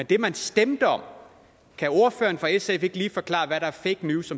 det man stemte om kan ordføreren for sf ikke lige forklare hvad der er fake news